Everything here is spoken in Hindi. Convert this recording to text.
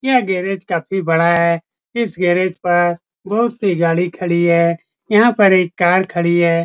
यह गैरेज काफी बड़ा है इस गैरेज पर बहोत सी गाड़ी खड़ी है यहाँ पर एक कार खड़ी है।